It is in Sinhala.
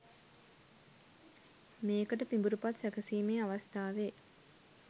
මේකට පිඹුරුපත් සැකසීමේ අවස්ථාවේ